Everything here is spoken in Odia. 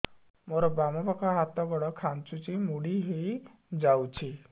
ମୋର ବାମ ପାଖ ହାତ ଗୋଡ ଖାଁଚୁଛି ମୁଡି ହେଇ ଯାଉଛି